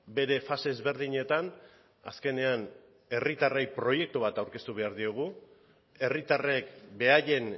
bere fase ezberdinetan azkenean herritarrei proiektu bat aurkeztu behar diegu herritarrek beraien